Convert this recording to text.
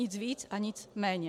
Nic víc a nic méně.